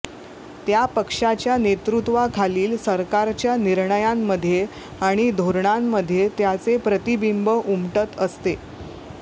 त्या पक्षाच्या नेतृत्वाखालील सरकारच्या निर्णयांमध्ये आणि धोरणांमध्ये त्याचे प्रतिबिंब उमटत असते